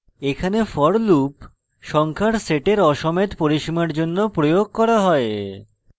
এখানে for loop সংখ্যার সেটের aসমেত পরিসীমার জন্য প্রয়োগ করা হয়